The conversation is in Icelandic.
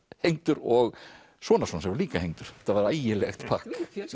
hengdur og sonarson sem var líka hengdur þetta var ægilegt pakk